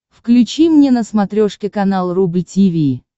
включи мне на смотрешке канал рубль ти ви